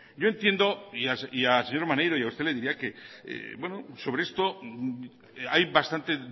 yo entiendo y al señor maneiro y a usted le diría que bueno sobre esto hay bastante